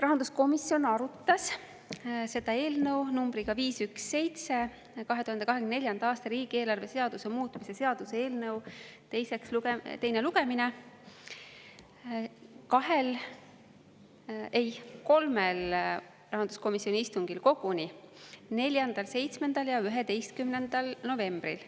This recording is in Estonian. Rahanduskomisjon arutas eelnõu nr 517, 2024. aasta riigieelarve seaduse muutmise seaduse eelnõu, teise lugemise koguni kolmel rahanduskomisjoni istungil: 4., 7. ja 11. novembril.